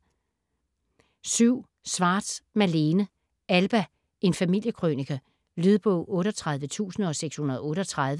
Schwartz, Malene: Alba: en familiekrønike Lydbog 38638